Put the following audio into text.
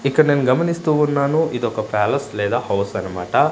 ఇక్కడ నేను గమనిస్తూ ఉన్నాను ఇదొక ప్యాలెస్ లేదా హౌస్ అనమాట.